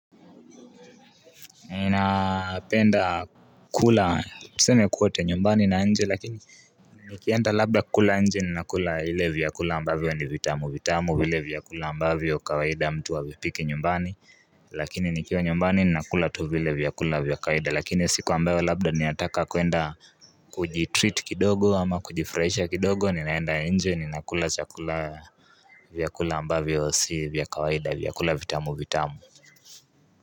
Ninapenda kula tuseme kwote nyumbani na nje lakini Nikienda labda kukula nje ninakula ile vyakula ambavyo ni vitamu vitamu vile vyakula ambavyo kawaida mtu havipiki nyumbani Lakini nikiwa nyumbani ninakula tu vile vyakula vya kawaida lakini siku ambayo labda ninataka kwenda kujitreat kidogo ama kujifurahisha kidogo ninaenda nje ninakula chakula vyakula ambavyo si vya kawaida vyakula vitamu vitamu.